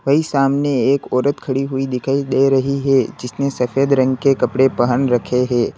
वहीं सामने एक औरत खड़ी हुई दिखाई दे रही है जिसने सफेद रंग के कपड़े पहन रखे हैं।